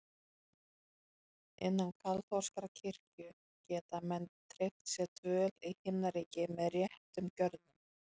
Innan kaþólskrar kirkju geta menn tryggt sér dvöl í Himnaríki með réttum gjörðum.